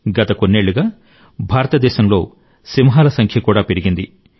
గత కొన్నేళ్లుగా భారతదేశంలో సింహాల జనాభా పెరిగింది